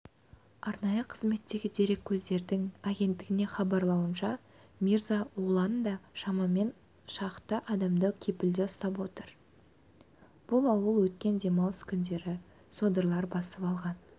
арнайы қызметтегі дереккөздің агенттігіне хабарлауынша мирза оланда шамамен шақты адамды кепілде ұстап отыр бұл ауыл өткен демалыс күндері содырлар басып алған